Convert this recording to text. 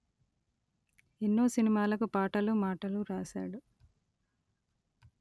ఎన్నో సినిమాలకు పాటలు మాటలు రాసాడు